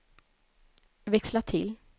växla till